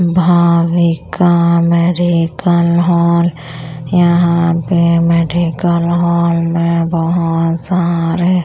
Bhavika medical hall यहां पे medical hall मे बहोत सारे।